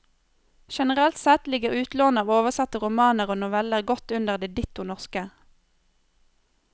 Generelt sett ligger utlånet av oversatte romaner og noveller godt under det ditto norske.